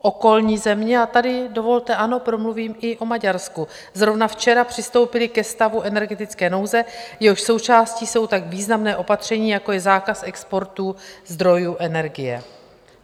Okolní země, a tady dovolte, ano, promluvím i o Maďarsku, zrovna včera přistoupily ke stavu energetické nouze, jehož součástí jsou tak významná opatření, jako je zákaz exportu zdrojů energie.